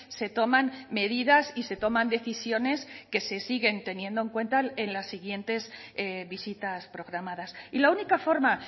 se toman medidas y se toman decisiones que se siguen teniendo en cuenta en las siguientes visitas programadas y la única forma